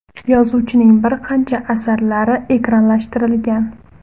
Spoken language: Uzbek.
Yozuvchining bir qancha asarlari ekranlashtirilgan.